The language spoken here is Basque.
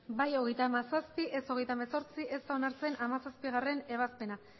bai hogeita hamazazpi ez hogeita hemezortzi ez da onartzen hamazazpigarrena ebazpena